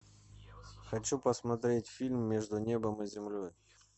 хочу посмотреть фильм между небом и землей